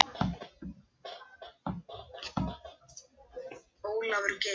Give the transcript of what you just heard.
Nei, við höfum aldrei hist.